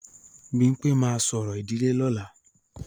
Bímpé máa ṣorò ìdílé lọ́la